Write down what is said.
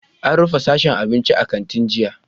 An rufe sashen abinci a kantin jiya?